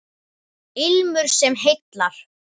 Ilmur sem heillar